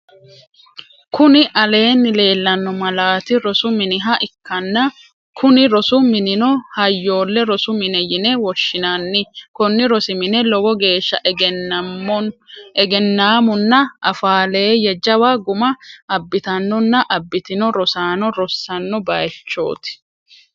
Kuni aleenni leellanno malaat rosu miniha ikkanna kuni rosu minino hayyole rosu mine yine woshinanni konni rosi mine lowo geeshsa egennammunna afaaleeyye jawa guma abitannonna abitinno rosano rossanno bayichot.